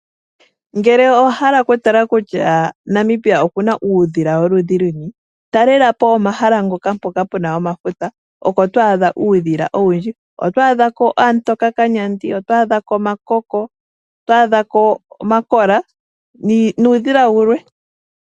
Ngele owa hala oku tala kutya Namibia okuna uudhila woludhi luni talelapo omahala mpoka puna omafuta oko to adha uudhila owundji. Oto adhako aamutoka kanyandi, oto adhako omayampompo, oto adhako omakola nuudhila wulwe.